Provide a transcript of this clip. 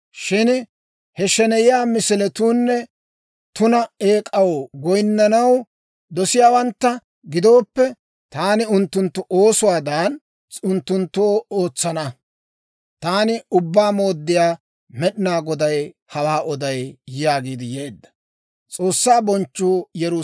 Shin he sheneyiyaa misiliyawunne tuna eek'aw goyinnanaw doseeddawantta gidooppe, taani unttunttu oosuwaadan unttunttoo ootsana. Taani Ubbaa Mooddiyaa Med'inaa Goday hawaa oday» yaagiidde yeedda.